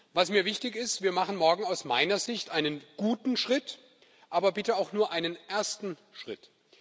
Was mir wichtig ist Wir machen morgen aus meiner Sicht einen guten Schritt, aber bitte auch nur einen ersten Schritt.